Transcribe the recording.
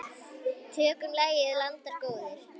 Tökum lagið, landar góðir.